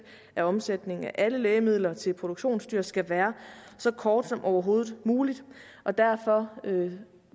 af omsætningen af alle lægemidler til produktionsdyr skal være så kort som overhovedet muligt og derfor vil